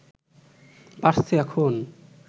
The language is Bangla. বাড়ছে এখন